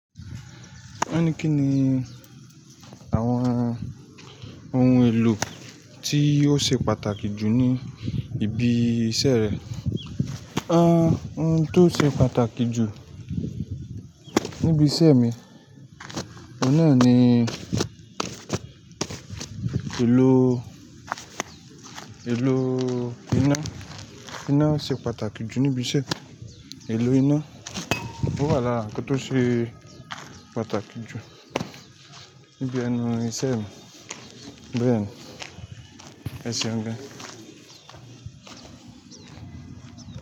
Won ní kíni àwọn ohun èlò tí ó ṣe pàtàkì jù ní ibi iṣẹ́ rẹ? Ohun tó ṣe pàtàkì jù níbi iṣẹ́ mi, ọ̀nà ni, èlò, èlò iná, iná ṣe pàtàkì jù níbi iṣẹ́. Èlò iná, ó wà lára nkan tó ṣe pàtàkì jù níbi ẹnu ìṣe mi. Bẹ́ẹ̀ni, ẹ ṣeun gan.